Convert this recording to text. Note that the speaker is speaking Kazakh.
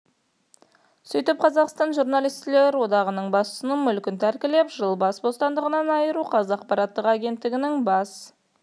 сөйтіп қазақстан журналистер одағының басшысын мүлкін тәркілеп жылға бас бостандығынан айыру қаз ақпараттық агенттігінің бас